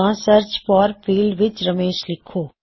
ਤਾਂ search for field ਵਿੱਚ ਰਮੇਸ਼ ਲਿਖੋ